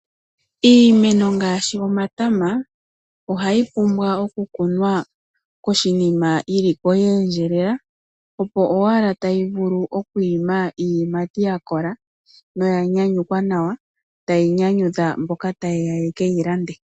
Iimeno ngaaashi omatama ohayi pumbwa oku kunwa po shinima yili po ye endjelela opo owala tayi vulu okwiima iiyimati ya kola noku yanyukwa nawa tayi nyanyudha mboka ta yeya ye keyi lande.